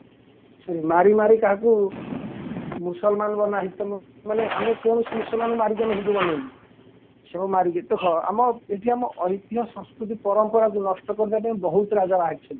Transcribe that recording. ମାରି ମାରି କାହାକୁ ମୁସଲମାନ ବନା ହେଇଚିତ ମାନେ ଆମେ କୌଣସି ମୁସଲମାନଙ୍କୁ ମାରି ହିନ୍ଦୁ ବାନେଇନୁ ମାରିକି ଦେଖ ଆମ ଏଇଠି ଆମ ଐତିହ ସଂସ୍କୃତି ପରମ୍ପରାକୁ ନଷ୍ଟ କରିଦେବେ ବହୁତ ରାଜା ବାହାରିଛନ୍ତି